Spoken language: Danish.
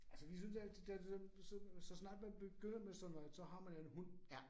Altså vi synes altid, det er sådan, så så snart man begynder med sådan noget, så har man en hund